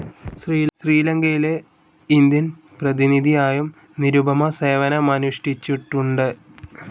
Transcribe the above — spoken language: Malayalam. ശ്രീലങ്കയിലെ ഇന്ത്യൻ പ്രതിനിധിയായും നിരുപമ സേവനമനുഷ്ടിച്ചിട്ടുണ്ട്.